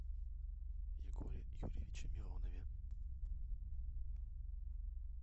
егоре юрьевиче миронове